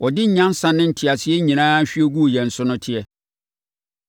ɔde nyansa ne nteaseɛ nyinaa hwie guu yɛn so no teɛ.